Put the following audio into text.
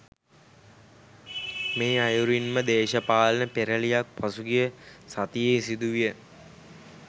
මේ අයුරින්ම දේශපාලන පෙරැළියක් පසුගිය සතියේ සිදුවිය